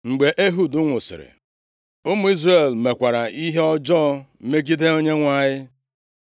Mgbe Ehud nwụsịrị, ụmụ Izrel mekwara ihe ọjọọ megide Onyenwe anyị.